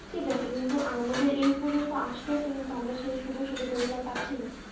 ঠিক আছে কিন্তু আমাদের এই পর্যন্ত আসতেছি কিন্তু আমরা সেই সুযোগ সুবিধা গুলা পাচ্ছিনা